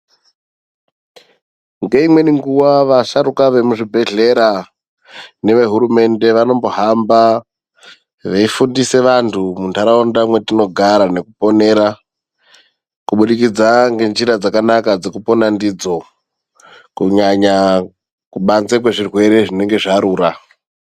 Ngeimweni nguwa vasharuka vemuzvibhedhlera nevehurumende vanombohamba veifundise vanthu muntaraunda mwetinogara nekuponera kubudikidza ngenjira dzakanaka dzekupona ndidzo kunyanya kubanze kwezvirwere zvinenge zvarura.